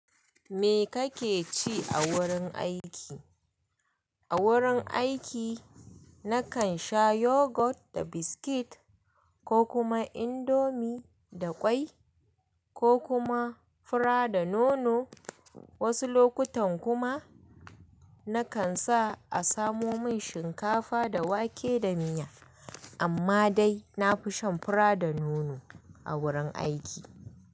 Me kake ci a wurin aiki? A wurin aiki nakan sha yogurt da biscuit ko kuma indomie da kwai ko kuma fura da nono. Wasu lokutan kuma nakan sa a samo min shinkafa da wake da miya. Amma dai nafi shan fura da nono a wurin aiki.